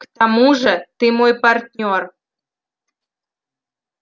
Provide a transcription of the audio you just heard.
к тому же ты мой партнёр